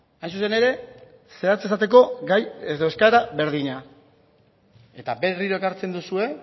hain zuzen ere zehatz esateko gai edo eskaera berdina eta berriro ekartzen duzue